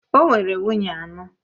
O nwere nwunye anọ.